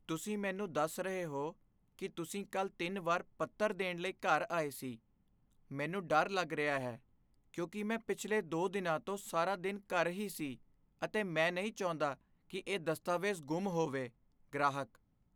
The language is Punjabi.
ਤੁਸੀਂ ਮੈਨੂੰ ਦੱਸ ਰਹੇ ਹੋ ਕੀ ਤੁਸੀਂ ਕੱਲ੍ਹ ਤਿੰਨ ਵਾਰ ਪੱਤਰ ਦੇਣ ਲਈ ਘਰ ਆਏ ਸੀ, ਮੈਨੂੰ ਡਰ ਲੱਗ ਰਿਹਾ ਹੈ, ਕਿਉਂਕਿ ਮੈਂ ਪਿਛਲੇ ਦੋ ਦਿਨਾਂ ਤੋਂ ਸਾਰਾ ਦਿਨ ਘਰ ਹੀ ਸੀ ਅਤੇ ਮੈਂ ਨਹੀਂ ਚਾਹੁੰਦਾ ਕੀ ਇਹ ਦਸਤਾਵੇਜ਼ ਗੁੰਮ ਹੋਵੇ ਗ੍ਰਾਹਕ